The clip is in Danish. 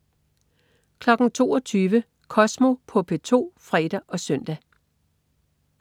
22.00 Kosmo på P2 (fre og søn)